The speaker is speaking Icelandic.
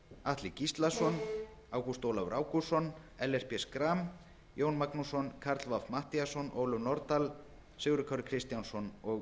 atli gíslason ágúst ólafur ágústsson ellert b schram jón magnússon karl fimmti matthíasson ólöf nordal sigurður kári kristjánsson og